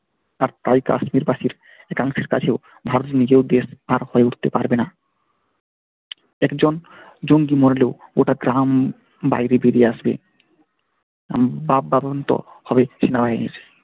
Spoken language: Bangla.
আর তাই কাশ্মিরবাসীর একাংশের কাছেও ভারত নিজেও তার হয়ে উঠতে পারবেনা একজন জঙ্গি মরলেও গোটা গ্রাম বাইরে বেরিয়ে আসবে হবে সেনাবাহিনীর।